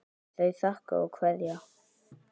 Þau þakka og kveðja.